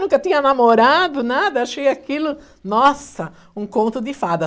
Nunca tinha namorado, nada, achei aquilo, nossa, um conto de fada.